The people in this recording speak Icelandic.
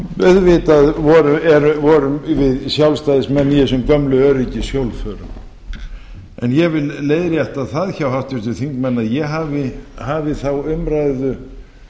auðvitað vorum við sjálfstæðismenn í þessum gömlu öryggishjólförum en ég vil leiðrétta það hjá háttvirtum þingmanni að ég hafi hafið þá umræðu